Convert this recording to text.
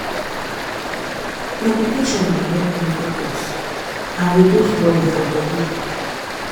meditation dey help me focus and reduce worry for body.